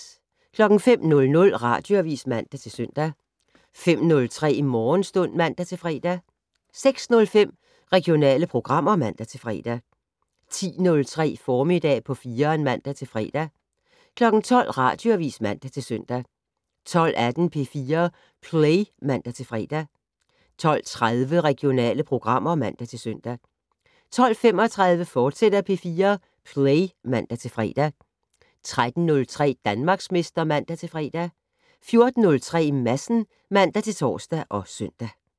05:00: Radioavis (man-søn) 05:03: Morgenstund (man-fre) 06:05: Regionale programmer (man-fre) 10:03: Formiddag på 4'eren (man-fre) 12:00: Radioavis (man-søn) 12:18: P4 Play (man-fre) 12:30: Regionale programmer (man-søn) 12:35: P4 Play, fortsat (man-fre) 13:03: Danmarksmester (man-fre) 14:03: Madsen (man-tor og søn)